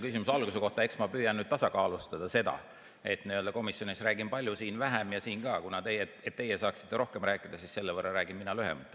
Küsimuse alguse kohta – eks ma püüan tasakaalustada seda, et komisjonis räägin palju, siin vähem, ja siin ka täna, et teie saaksite rohkem rääkida, räägin mina selle võrra lühemalt.